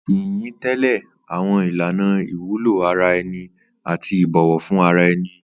Ìyìn ń tẹ̀lé àwọn ìlànà ìwúlò ara ẹni àti ìbọ̀wọ̀ fún ara ẹni.